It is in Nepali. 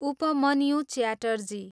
उपमन्यु च्याटर्जी